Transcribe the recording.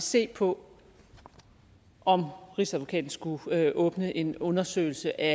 se på om rigsadvokaten skulle åbne en undersøgelse af